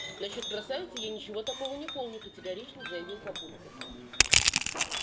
насчёт красавицы я ничего такого не помню категорично заявил папулька